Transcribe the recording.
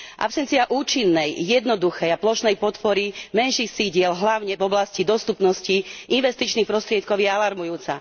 Absencia účinnej, jednoduchej a plošnej podpory menších sídiel, hlavne v oblasti dostupnosti investičných prostriedkov, je alarmujúca.